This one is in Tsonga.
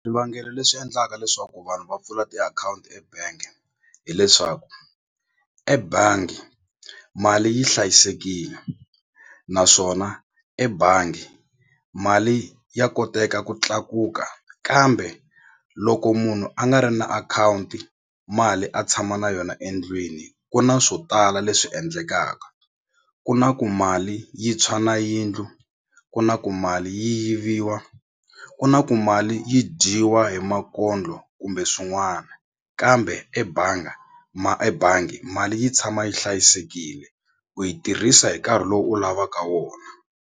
Swivangelo leswi endlaka leswaku vanhu va pfula tiakhawunti ebank hileswaku ebangi mali yi hlayisekile naswona ebangi mali ya koteka ku tlakuka kambe loko munhu a nga ri na akhawunti mali a tshama na yona endlwini ku na swo tala leswi endlekaka ku na ku mali yi tshwa na yindlu ku na ku mali yi yiviwa ku na ku mali yi dyiwa hi makondlo kumbe swin'wana kambe ebanga ebangi mali yi tshama yi hlayisekile ku yi tirhisa hi nkarhi lowu u lavaka wona.